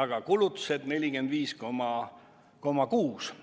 aga kulutused on 45,6%.